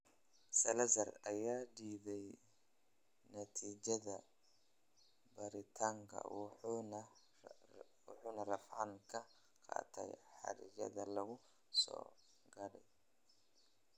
Salazar ayaa diiday natiijada baaritaanka wuxuuna racfaan ka qaatay xayiraadda lagu soo rogay.